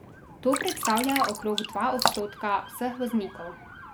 To predstavlja okrog dva odstotka vseh voznikov.